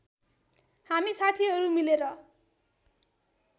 हामी साथीहरू मिलेर